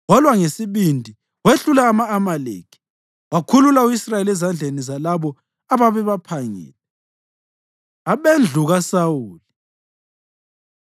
Walwa ngesibindi wehlula ama-Amaleki, wakhulula u-Israyeli ezandleni zalabo ababebaphangile. Abendlu KaSawuli